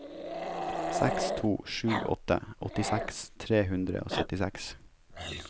seks to sju åtte åttiseks tre hundre og syttiseks